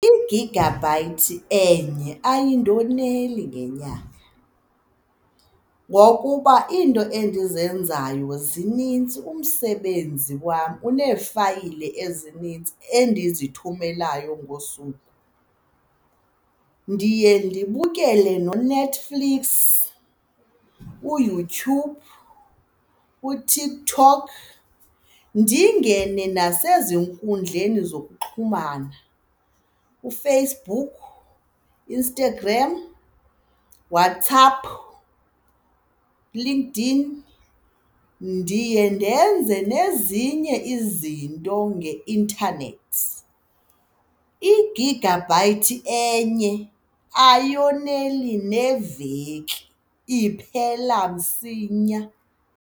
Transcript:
I-gigabyte enye ayindoneli ngenyanga ngokuba iinto endizenzayo zinintsi, umsebenzi wam uneefayile ezinintsi endizithumelayo ngosuku. Ndiye ndibukele noNetflix, uYouTube, uTikKok, ndingene nasezinkundleni zokuxhumana, uFacebook, Instagram, WhatsApp, LinkedIn. Ndiye ndenze nezinye izinto nge-internet, igigabhayithi enye ayoneli neveki, iphela msinya.